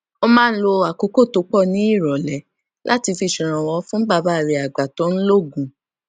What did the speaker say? ó máa ń lo àkókò tó pò ní ìròlé láti fi ṣèrànwó fún bàbá rè àgbà tó ń lo oògùn